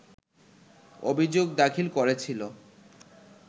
অভিযোগ দাখিল করেছিল